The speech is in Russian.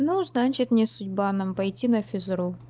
ну значит не судьба нам пойти на физру